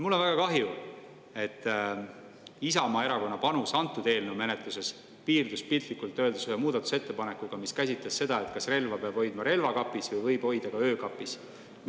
Mul on väga kahju, et Isamaa Erakonna panus antud eelnõu menetluses piirdus piltlikult öeldes ühe muudatusettepanekuga, mis käsitles seda, kas relva peab hoidma relvakapis või võib seda hoida ka öökapis.